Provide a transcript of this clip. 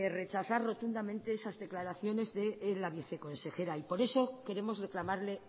rechazar rotundamente esas declaraciones de la viceconsejera y por eso queremos reclamarle